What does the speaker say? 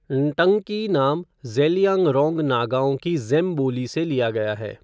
न्टंकी नाम ज़ेलियांगरोंग नागाओं की ज़ेम बोली से लिया गया है।